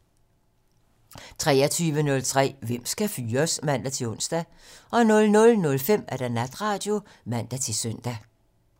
23:03: Hvem skal fyres? (man-ons) 00:05: Natradio (man-søn)